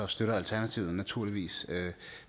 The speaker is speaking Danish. støtter alternativet det naturligvis